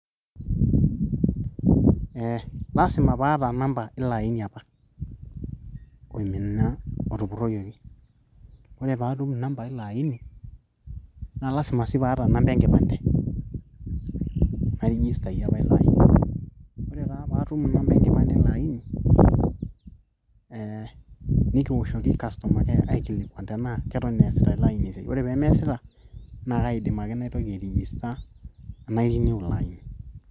lasima paata namba ilo aini apa oimina otupurroyioki ore paatum inamba ilo aini naa lasima sii paata namba enkipande nairijistayie apa olo aini ore taa paatum inamba enkipande ilo aini ee nikiwoshoki customer care aikilikuan tenaa keton eesita ilo aini esiai ore pee meesita naa kaidim ake naitoki airijista nai renew ilo aini.